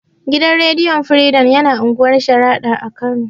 Gidan rediyo firidom yana unguwar sharaɗa a kano